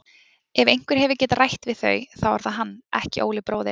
Ef einhver hefur getað rætt við þau þá er það hann, ekki Óli bróðir.